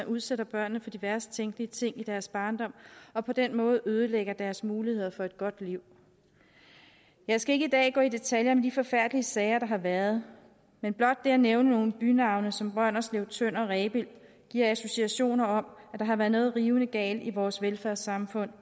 udsætter børnene for de værst tænkelige ting i deres barndom og på den måde ødelægger deres muligheder for et godt liv jeg skal ikke i dag gå i detaljer om de forfærdelige sager der har været men blot det at nævne nogle bynavne som brønderslev tønder rebild giver associationer om at der har været noget rivende galt i vores velfærdssamfund